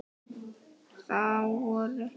Þá voru